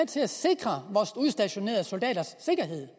til at sikre vores udstationerede soldaters sikkerhed